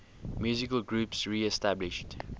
musical groups reestablished